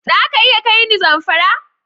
Za ka iya kai ni Zamfara?